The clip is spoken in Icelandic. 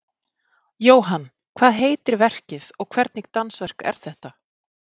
Jóhann, hvað heitir verkið og hvernig dansverk er þetta?